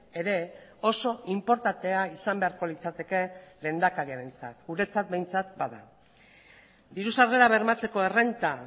ere oso inportantea izan beharko litzateke lehendakariarentzat guretzat behintzat bada diru sarrerak bermatzeko errenta